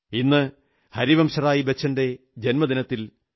ഇന്ന് ഹരിവംശറായ് ബച്ചന്റെ ജന്മദിനത്തിൽ ശ്രീ